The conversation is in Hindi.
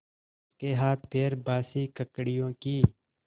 उसके हाथपैर बासी ककड़ियों की